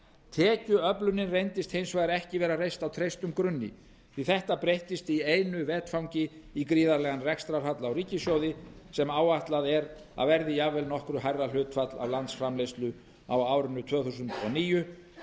tekjuöflunin reyndist hins vegar ekki vera reist á traustum grunni því að þetta breyttist í einu vetfangi í gríðarlegan rekstrarhalla á ríkissjóði sem áætlað er að verði jafnvel nokkru hærra hlutfall af landsframleiðslu á árinu tvö þúsund og níu